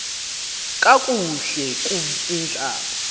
kakuhle kub ihlab